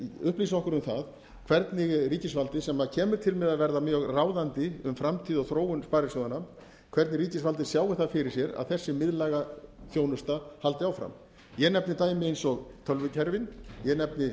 upplýsi okkur um það hvernig ríkisvaldið sem kemur til með að verða mjög ráðandi um framtíð og þróun sparisjóðanna hvernig ríkisvaldið sjái það fyrir sér að þessi miðlæga þjónusta haldi áfram ég nefni dæmi eins og tölvukerfin ég nefni